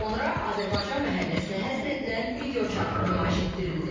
Sonra Azərbaycan məhəlləsinə həsr edilən videoçarx nümayiş etdirildi.